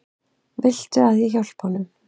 Viltu að ég hjálpi honum?